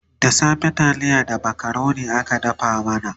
da safe taliya da macaroni aka dafa mana